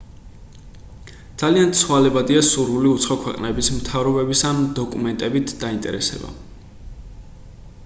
ძალიან ცვალებადია სურვილი უცხო ქვეყნების მთავრობების ამ დოკუმენტებით დაინტერესება